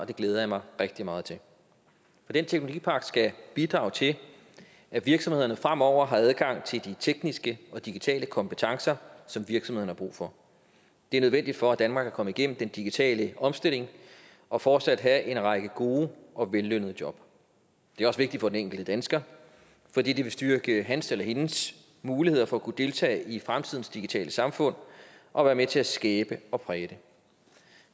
det glæder jeg mig rigtig meget til for den teknologipagt skal bidrage til at virksomhederne fremover har adgang til de tekniske og digitale kompetencer som virksomhederne har brug for det er nødvendigt for at danmark kan komme igennem den digitale omstilling og fortsat have en række gode og vellønnede job det er også vigtigt for den enkelte dansker fordi det vil styrke hans eller hendes muligheder for at kunne deltage i fremtidens digitale samfund og være med til at skabe og præge det